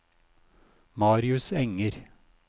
Marius Enger